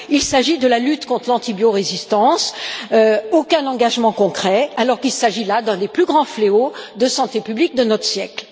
Il s'agit de la lutte conte l'antibiorésistance aucun engagement concret n'a été pris, alors qu'il s'agit là d'un des plus grands fléaux de santé publique de notre siècle.